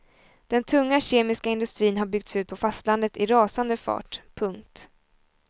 Den tunga kemiska industrin har byggts ut på fastlandet i rasande fart. punkt